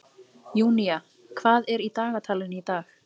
Júnía, hvað er í dagatalinu í dag?